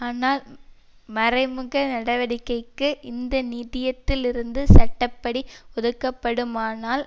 ஆனால் மறைமுக நடவடிக்கைக்கு இந்த நிதியத்திலிருந்து சட்ட படி ஒதுக்கப்படுமானால்